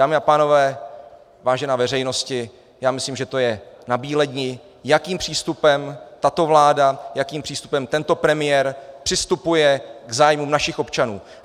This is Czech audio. Dámy a pánové, vážená veřejnosti, já myslím, že to je nabíledni, jakým přístupem tato vláda, jakým přístupem tento premiér přistupuje k zájmům našich občanů.